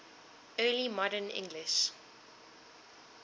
early modern english